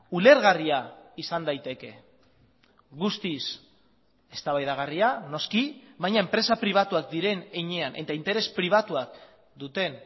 ulergarria izan daiteke guztiz eztabaidagarria noski baina enpresa pribatuak diren heinean eta interes pribatuak duten